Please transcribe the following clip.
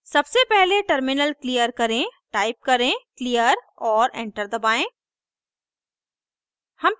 सबसे पहले terminal clear करें टाइप करें क्लियर और एंटर दबाएं